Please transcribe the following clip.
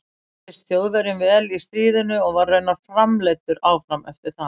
Hann reyndist Þjóðverjum vel í stríðinu og var raunar framleiddur áfram eftir það.